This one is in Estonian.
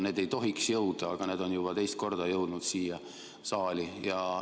Need ei tohiks jõuda, aga need on juba teist korda jõudnud siia saali.